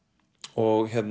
og